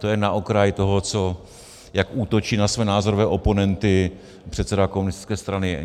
To jen na okraj toho, jak útočí na své názorové oponenty předseda komunistické strany.